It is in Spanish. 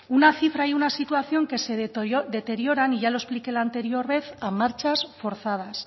una cifra y una situación que se deterioran y ya lo expliqué en la anterior vez a marchas forzadas